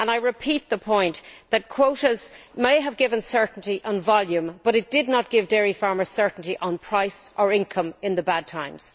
I repeat the point that quotas may have given certainty and volume, but they did not give dairy farmers certainty on price or income in the bad times.